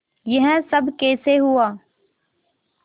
यह सब कैसे हुआ